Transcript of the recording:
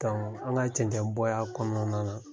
Karamɔgɔ an ka cɛncɛn bɔ y'a kɔnɔna na.